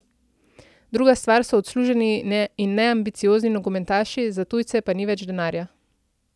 Druga stvar so odsluženi in neambiciozni nogometaši, za tujce pa ni več denarja.